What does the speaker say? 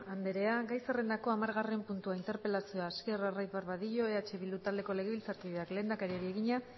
andrea gai zerrendako hamargarren puntua interpelazioa hasier arraiz barbadillo eh bildu taldeko legebiltzarkideak lehendakariari egina